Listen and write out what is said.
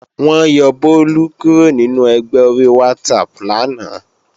Wọ́n yọ Bólú kúrò nínú ẹgbẹ́ ori WhatsApp lánàá